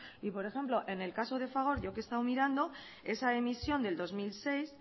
y por ejemplo en el caso de fagor yo que he estado mirando esa emisión del dos mil seis